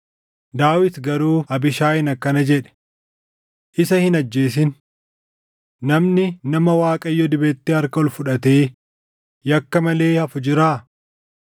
Daawit garuu Abiishaayiin akkana jedhe; “Isa hin ajjeesin! Namni nama Waaqayyo dibetti harka ol fudhatee yakka malee hafu jiraa?